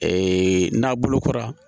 n'a bolokɔrɔ